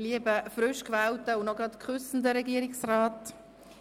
Lieber frischgewählter und noch küssender Regierungsrat,